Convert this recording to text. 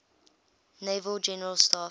naval general staff